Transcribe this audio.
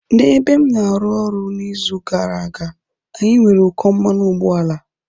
N'ebe m na-arụ ọrụ n'izu gara aga, anyị nwere ụkọ mmanụ ụgbọala.